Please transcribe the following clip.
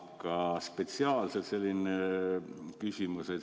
Aga spetsiaalselt selline küsimus.